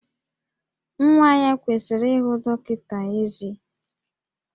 Nwa ya kwesịrị ihụ dọkịta ezé